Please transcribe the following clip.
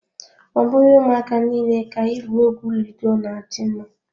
Ọ bụghị ụmụaka niile ka igwu egwu ludo na adị mma.